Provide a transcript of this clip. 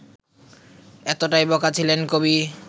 এতটাই বোকা ছিলেন কবি